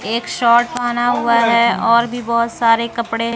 एक शर्ट पहना हुआ है और भी बहुत सारे कपड़े--